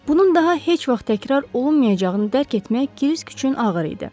Bunun daha heç vaxt təkrar olunmayacağını dərk etmək Krisk üçün ağır idi.